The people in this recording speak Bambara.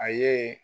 A ye